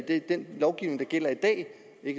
i den lovgivning der gælder i dag